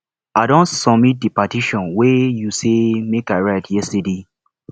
i don submit the petition wey you say make i write yesterday